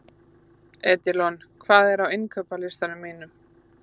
Edilon, hvað er á innkaupalistanum mínum?